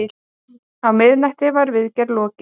Á miðnætti var viðgerð lokið.